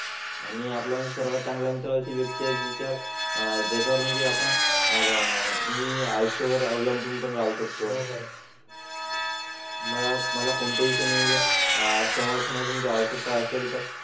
आणि आपल्या सर्वात चांगला मित्र अशी व्यक्ती आहे ज्याच्या ज्याच्या वर म्हणजे आपण आह न्यू याच्या वर अवलंबून राहू शकतो हो. मला मला कोणत्याही म्हणजे आह समर्थना ची आवश्यकता असेल तर